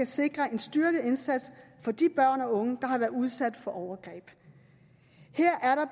sikre en styrket indsats for de børn og unge der har været udsat for overgreb